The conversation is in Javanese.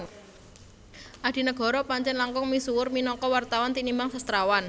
Adinegoro Pancèn langkung misuwur minangka wartawan tinimbang sastrawan